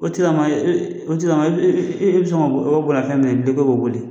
O tigila maa, la tigila maa e bɛ sɔn k'o ka bolimafɛn minɛ k'i b'o boli!